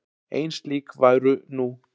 Ein slík væru nú.